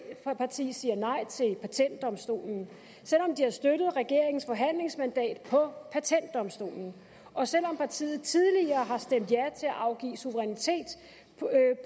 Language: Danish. siger nej til patentdomstolen selv om de har støttet regeringens forhandlingsmandat på patentdomstolen og selv om partiet tidligere har stemt ja til at afgive suverænitet